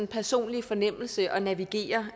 personlige fornemmelse at navigere